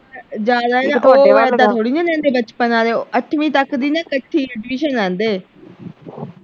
ਜਾ ਜਾ ਥੋੜੇ ਦਿੰਦੇ ਬਚਪਨ ਵਾਲੇ ਅੱਠਵੀਂ ਤੱਕ ਦੀ ਨਾ ਇਕੱਠੀ admission ਲੈਂਦੇ